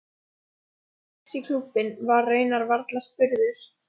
Ég gekk strax í klúbbinn, var raunar varla spurður.